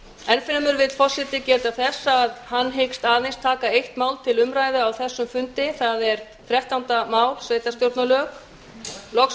enn fremur vill forseti geta þess að hann hyggst aðeins taka eitt mál til umræðu á þessum fundi það er þrettánda mál sveitarstjórnarlög loks